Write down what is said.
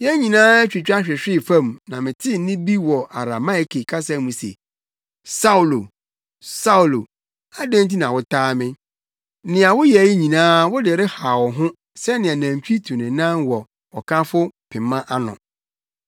Yɛn nyinaa twitwa hwehwee fam na metee nne bi wɔ Arameike kasa mu se, ‘Saulo! Saulo! Adɛn nti na wotaa me? Nea woyɛ yi nyinaa wode rehaw wo ho sɛnea nantwi tu ne nan wɔ ɔkafo pema ano.’